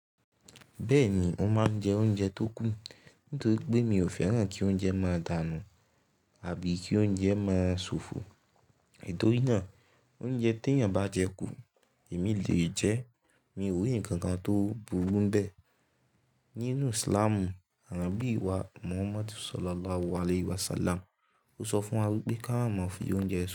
Bẹ́ẹ̀ni, mo máa ń jẹ oúnjẹ tó kù nítorí pé mi ò fẹ́ràn kí oúnjẹ máa dànù àbí kí oúnjẹ máa ṣòfò. Itò rí náà, oúnjẹ tí èèyàn bá jẹ kù, èmi lè jẹ́. Mi ò rí ǹkan kan tó burú nbẹ́ẹ̀ nínú Islamu. Ànábì wá Muhammad Sallallahu Alaihi Wasallam sọ fún wa wípé ká má fi oúnjẹ sùn.